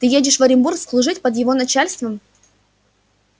ты едешь в оренбург служить под его начальством